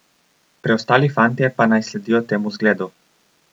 Preostali fantje pa naj sledijo temu zgledu!